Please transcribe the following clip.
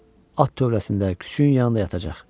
At tövləsində küçüyün yanında yatacaq.